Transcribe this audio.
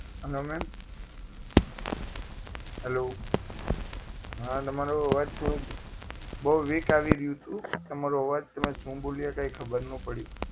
hello ma'am hello હા તમારો અવાજ થોડો બહુ weak આવી રહ્યું હતું તમારો આવાજ તમે શું બોલ્યો કાંઈ ખબર નહીં પડી